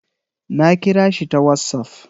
Na kira shi ta wassaf